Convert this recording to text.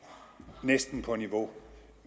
næsten er på niveau